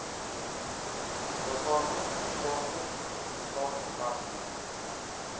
liggame hoofsaaklik staatsdepartemente